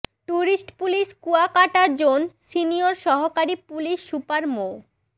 tourist police Kuakata zone senior সহকারী police super মো